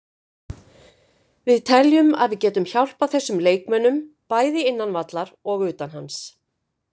Við teljum að við getum hjálpað þessum leikmönnum, bæði innan vallar og utan hans.